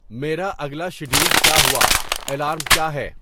میرا اگلا شیڈول کیا ہوا الارم کیا ہے